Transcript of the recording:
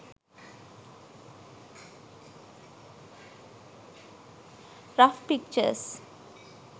rough pictures